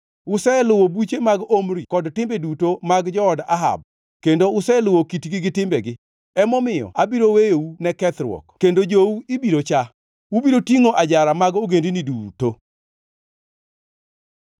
Useluwo buche mag Omri kod timbe duto mag jood Ahab, kendo useluwo kitgi gi timbegi. Emomiyo abiro weyou ne kethruok kendo jowu ibiro chaa. Ubiro tingʼo ajara mag ogendini duto.”